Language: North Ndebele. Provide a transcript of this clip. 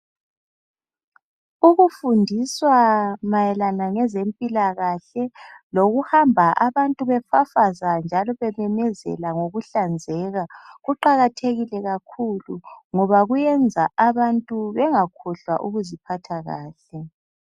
Ukufundiswa mayelana ngezempilakahle lokuhamba abantu befafazwa njalo bememezela ngokuhlanzeka kuqakathekile kakhulu ngoba kuyenza abantu bengakhohlwa ukuziphatha kahle.